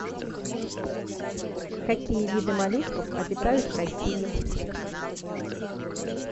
какие виды моллюсков обитают в россии